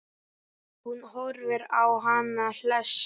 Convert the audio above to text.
Hún horfir á hann hlessa.